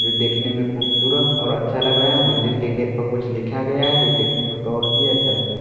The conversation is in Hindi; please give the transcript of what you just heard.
जो देखने में खूबसूरत और अच्छा लग रहा है मंदिर के गेट पर कुछ लिखा गया है जो देखने में और भी अच्छा लग रहा है।